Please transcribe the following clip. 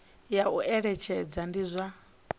ya u eletshedza ndi zwa